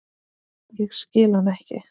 Ég skil hann ekki.